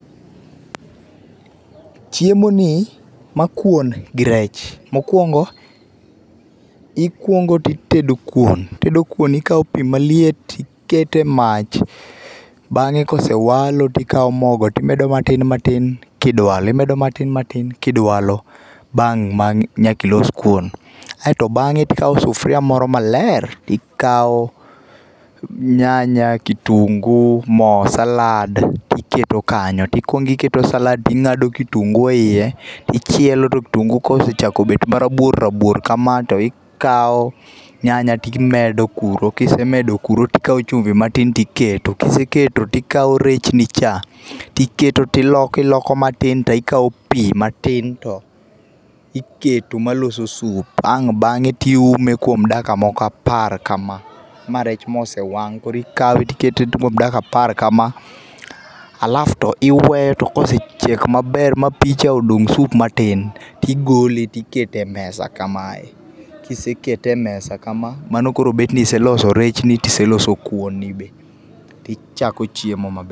Chiemoni, ma kuon gi rech. Mokuongo, ikuongo titedo kuon. Itedo kuon ikawo pi maliet, iketo e mach. Bang'e kosewalo tikawo mogo timedo matin matin tidwalo, matin matin tidwalo bang' ang' nyakilos kuon. Aeto bang'e tikawo sufuria moro maler, tikawo nyanya, kitungu ,mo salad tiketo kanyo tikuongo iketo salad ting'ado kitungu eiye tichiele to kitungu kosechako bet marabuor rabuor kama tikawo nyanya timedo kuro kise medo kuro tikawo chumbi matin tiketo. Kiseketo tikawo rechni cha tiketo tiloko iloko matin tikawo pi matin iketo maloso soup ae bang'e tiume kuom dakika moko apar kama. Ma rech mosewang' koro ikawe tikete kuom dakika moko apar kama alafu to iweyo to kosechiek maber ma picha odong' soup matin tigole tikete e mesa kamae. Kise kete e mesa kama mano koro betni iseloso rechni tiseloso kuoni be tichako chiemo maber.